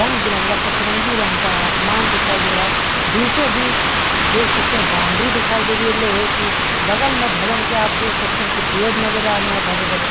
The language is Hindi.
रंग-बिरंगा सतरंगी रंग का आसमान दिखाई दे रहा है बीचो-बीच देख सकते हैं बाउंड्री दिखाई दे रही है लोहे की बगल में भवन के आप देख सकते हैं कि पेड़ नज़र आ रहे हैं भरे-भरे।